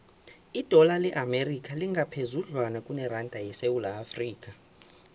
idola le amerika lingaphezudlwana kuneranda yesewula afrika